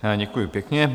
Děkuji pěkně.